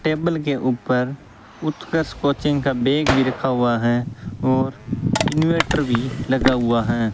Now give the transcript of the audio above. Table के ऊपर Utkarsh coaching का बैग भी रखा हुआ है और इनवर्टर भी लगा हुआ है।